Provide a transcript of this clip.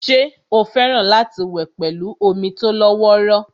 ṣé ó fẹ́ràn láti wẹ̀ pẹ̀lú omi tó lọ́wọ́rọ́